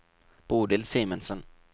Bodil Simensen